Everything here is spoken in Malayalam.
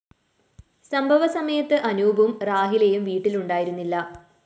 സംഭവ സമയത്ത് അനൂപും റാഹിലയും വീട്ടിലുണ്ടായിരുന്നില്ല